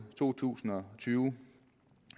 to tusind og tyve